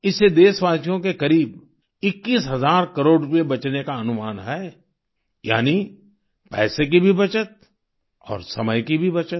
इससे देशवासियों के करीब 21 हजार करोड़ रूपए बचने का अनुमान है यानी पैसे की भी बचत और समय की भी बचत